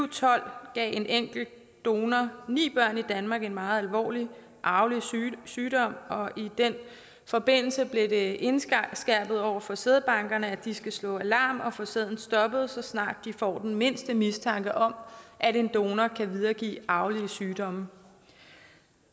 tolv gav en enkelt donor ni børn i danmark en meget alvorlig arvelig sygdom og i den forbindelse blev det indskærpet over for sædbankerne at de skal slå alarm og få sæden stoppet så snart de får den mindste mistanke om at en donor kan videregive arvelige sygdomme